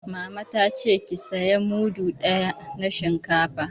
Mama ta ce 'Ki saya mudu ɗaya na shinkafa'!